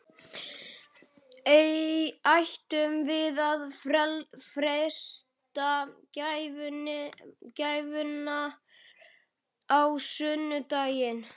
Ættum við að freista gæfunnar á sunnudaginn?